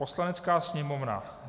Poslanecká sněmovna